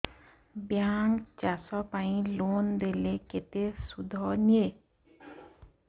bank ଚାଷ ପାଇଁ loan ଦେଲେ କେତେ ସୁଧ ନିଏ